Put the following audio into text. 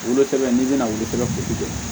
Wolosɛbɛn n'i bɛna wolo kuru di